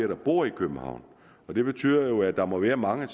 der bor i københavn det betyder jo at der må være mange af